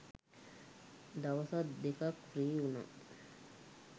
දවසක් දෙකක් ෆ්‍රී වුනා.